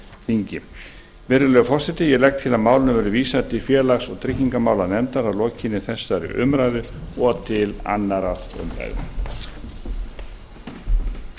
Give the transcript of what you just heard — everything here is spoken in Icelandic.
þingi virðulegi forseti ég legg til að málinu verði vísað til félags og tryggingamálanefndar að lokinni þessari umræðu og til annarrar umræðu